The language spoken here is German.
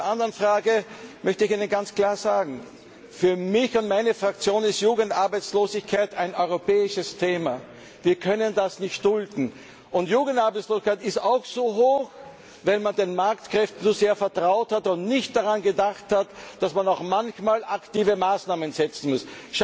Zur anderen Frage möchte ich Ihnen ganz klar sagen Für mich und meine Fraktion ist Jugendarbeitslosigkeit ein europäisches Thema. Wir können das nicht dulden. Und die Jugendarbeitslosigkeit ist auch so hoch, weil man den Marktkräften zu sehr vertraut und nicht daran gedacht hat, dass man manchmal auch aktive Maßnahmen setzen muss.